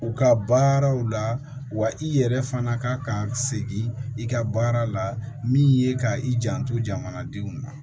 U ka baaraw la wa i yɛrɛ fana ka segin i ka baara la min ye ka i janto jamanadenw ma